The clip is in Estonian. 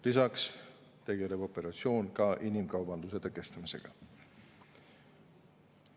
Lisaks tegeleb operatsioon inimkaubanduse tõkestamisega.